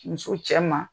Muso cɛ ma